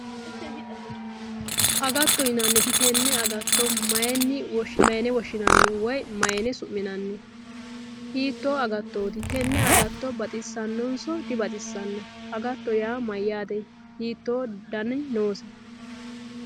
Agatto yinaniti tenne agatto mayine woshinani ?woye mayine suminanni ?hitto agattoti? Tenne agatto baxinanniso? dibaxinanni ?agatto yaa mayate hitto Dani nose